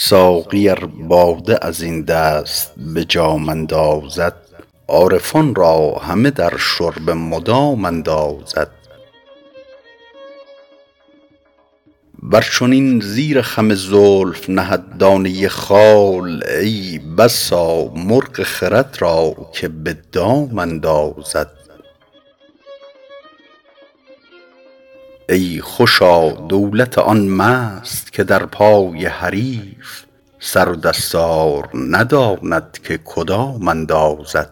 ساقی ار باده از این دست به جام اندازد عارفان را همه در شرب مدام اندازد ور چنین زیر خم زلف نهد دانه خال ای بسا مرغ خرد را که به دام اندازد ای خوشا دولت آن مست که در پای حریف سر و دستار نداند که کدام اندازد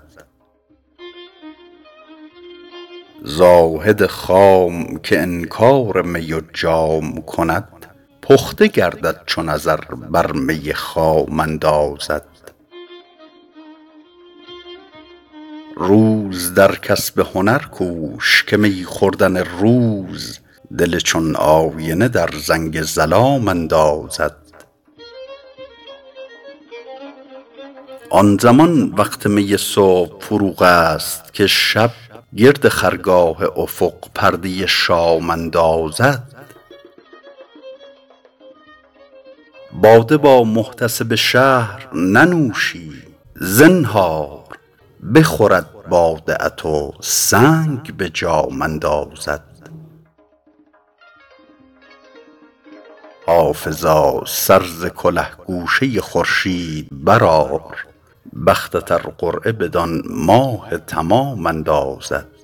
زاهد خام که انکار می و جام کند پخته گردد چو نظر بر می خام اندازد روز در کسب هنر کوش که می خوردن روز دل چون آینه در زنگ ظلام اندازد آن زمان وقت می صبح فروغ است که شب گرد خرگاه افق پرده شام اندازد باده با محتسب شهر ننوشی زنهار بخورد باده ات و سنگ به جام اندازد حافظا سر ز کله گوشه خورشید برآر بختت ار قرعه بدان ماه تمام اندازد